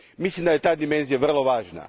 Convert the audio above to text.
Mislim da je ta dimenzija vrlo važna.